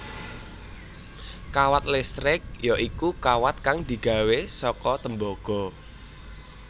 Kawat listrik ya iku kawat kang digawé saka tembaga